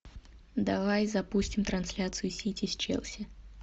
давай запустим трансляцию сити с челси